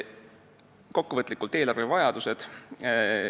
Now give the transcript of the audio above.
Kokkuvõtlikult eelarvevajadustest.